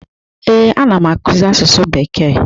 Ee, anam akụzi asụsụ bekee.